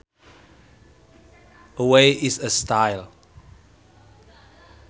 A way is a style